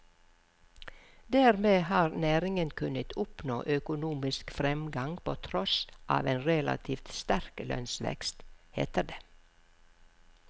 Dermed har næringen kunnet oppnå økonomisk fremgang på tross av en relativt sterk lønnsvekst, heter det.